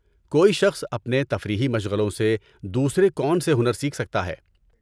کوئی شخص اپنے تفریحی مشغلوں سے دوسرے کون سے ہنر سیکھ سکتا ہے؟